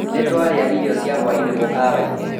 Nĩtwarĩa irio cia hwaĩ-inĩ mũkawa-inĩ